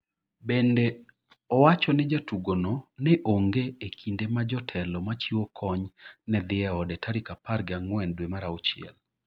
Bende, owacho ni jatugono ne onge -e kinde ma jotelo machiwo kony ne dhi e ode tarik apar gi ang'wen dwe mar auchiel.